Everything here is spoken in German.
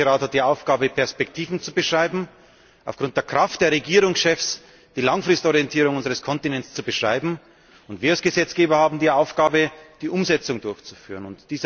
Der Europäische Rat hat die Aufgabe, Perspektiven zu beschreiben, aufgrund der Kraft der Regierungschefs die Langfristorientierung unseres Kontinents zu beschreiben, und wir als Gesetzgeber haben die Aufgabe, die Umsetzung durchzuführen.